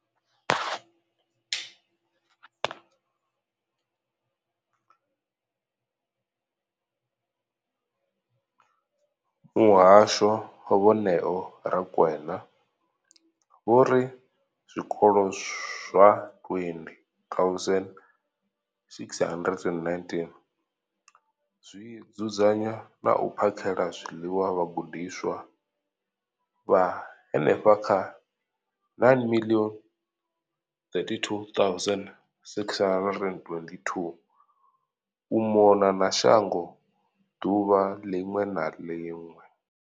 Muhasho, Vho Neo Rakwena, vho ri zwikolo zwa 20 619 zwi dzudzanya na u phakhela zwiḽiwa vhagudiswa vha henefha kha 9 032 622 u mona na shango ḓuvha ḽiṅwe na ḽiṅwe.